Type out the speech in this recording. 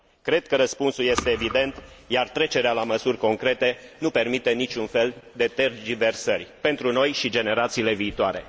Cred că răspunsul este evident, iar trecerea la măsuri concrete nu permite niciun fel de tergiversări pentru noi și generațiile viitoare.